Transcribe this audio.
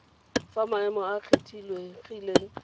fa maemo a a kgethegileng